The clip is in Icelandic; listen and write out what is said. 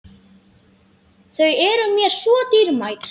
Þau eru mér svo dýrmæt.